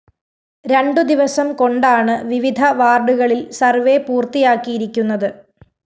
രണ്ടുദിവസം കൊണ്ടാണ് വിവിധ വാര്‍ഡുകളില്‍ സർവേ പൂര്‍ത്തിയാക്കിയിരിക്കുന്നത്